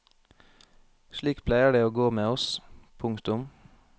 Slik pleier det å gå med oss. punktum